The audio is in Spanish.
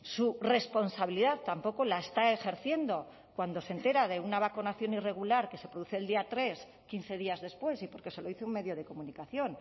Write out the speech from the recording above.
su responsabilidad tampoco la está ejerciendo cuando se entera de una vacunación irregular que se produce el día tres quince días después y porque se lo dice un medio de comunicación